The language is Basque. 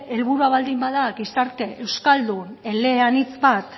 helburua bada gizarte euskaldun eleanitz bat